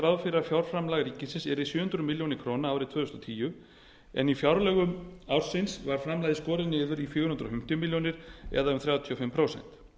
að fjárframlag ríkisins yrði sjö hundruð milljóna króna árið tvö þúsund og tíu en í fjárlögum ársins var framlagið skorið niður í fjögur hundruð fimmtíu milljónir króna eða um þrjátíu og fimm prósent